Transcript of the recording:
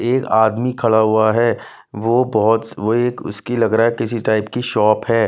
एक आदमी खड़ा हुआ है वो बहुत वो एक उसकी लग रहा है किसी टाइप की शॉप है।